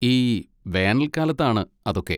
ഈ വേനൽകാലത്താണ് അതൊക്കെ!